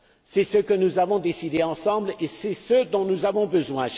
C'est ce que nous avons décidé ensemble et ce dont nous avons besoin.